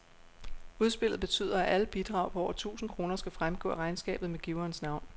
Udspillet betyder, at alle bidrag på over tusind kroner skal fremgå af regnskabet med giverens navn.